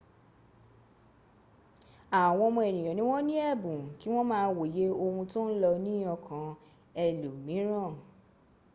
àwọn ọmọ ènìyàn ni wọ́n ni ẹ̀bùn kí wọ́n máa wòye ohun tó ń lọ ni ọkan ẹlòmìíràn